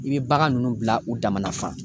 I bɛ bagan ninnu bila u dama na fa.